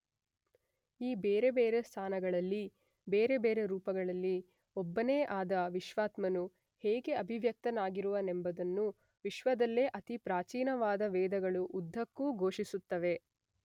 ಈ ಬೇರೆ ಬೇರೆ ಸ್ಥಾನಗಳಲ್ಲಿ ಬೇರೆ ಬೇರೆ ರೂಪಗಳಲ್ಲಿ ಒಬ್ಬನೇ ಆದ ವಿಶ್ವಾತ್ಮನು ಹೇಗೆ ಅಭಿವ್ಯಕ್ತನಾಗಿರುವನೆಂಬುದನ್ನು ವಿಶ್ವದಲ್ಲೇ ಅತಿ ಪ್ರಾಚೀನವಾದ ವೇದಗಳು ಉದ್ದಕ್ಕೂ ಘೋಷಿಸುತ್ತವೆ.